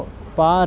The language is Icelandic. barinn